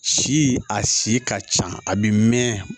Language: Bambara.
Si a si ka ca a bɛ mɛn